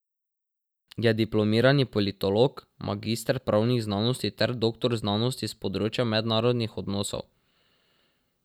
Je diplomirani politolog, magister pravnih znanosti ter doktor znanosti s področja mednarodnih odnosov.